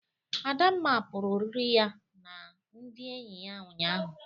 Adamma pụrụ oriri ya na ndị enyi ya ụnyaahụ.